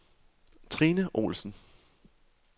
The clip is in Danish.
Trine Olsson